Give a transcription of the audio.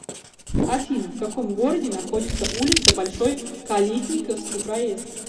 афина в каком городе находится улица большой калитниковский проезд